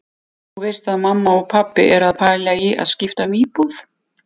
Þú veist að mamma og pabbi eru að pæla í því að skipta um íbúð.